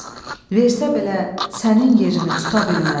Versə belə sənin yerini tuta bilməz.